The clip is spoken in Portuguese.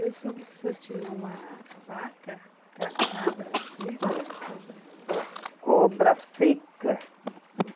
Eu soube que o senhor tinha uma vaca, ca cabra seca, cobra. Cobra seca.